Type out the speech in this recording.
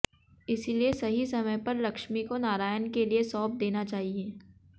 इसलिए सही समय पर लक्ष्मी को नारायण के लिए सौंप देना चाहिए